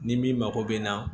Ni min mako bɛ na